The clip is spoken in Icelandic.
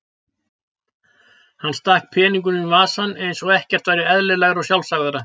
Hann stakk peningunum í vasann eins og ekkert væri eðlilegra og sjálfsagðara.